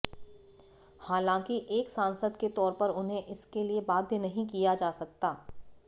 हालांकि एक सांसद के तौर पर उन्हें इसके लिए बाध्य नहीं किया जा सकता